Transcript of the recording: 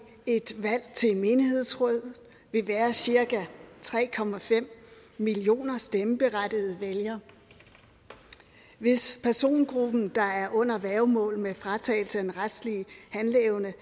et valg til menighedsråd vil være cirka tre millioner stemmeberettigede vælgere hvis persongruppen der er under værgemål med fratagelse af den retlige handleevne